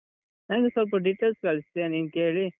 ನಂಗೆ ಸ್ವಲ್ಪ details ಕಳ್ಸ್ತೀಯ ನೀನ್ ಕೇಳಿ?